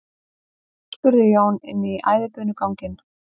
spurði Jón inn í æðibunuganginn.